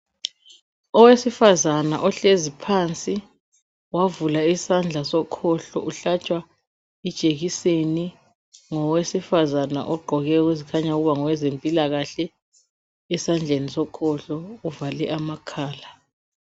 Owesifazana ohlezi phansi, wavula isandla sokhohlo, uhlatshwa ijekiseni ngowesifazana ogqoke ezikhanya ukuba ngowempilakahle. Esandleni sokhohlo uvale amakhala.